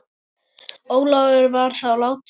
Ólafur var þá látinn.